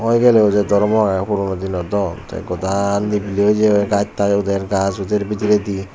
hoi gelleyo jei daramoro aagey purono dino do tey godaa nebili oi jeyegoi gass taas uder gass uder bidredi.